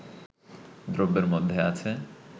দ্রব্যের মধ্যে আছে